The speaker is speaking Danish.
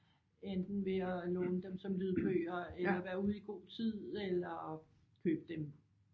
Enten ved at låne dem som lydbøger eller være ude i god tid eller købe dem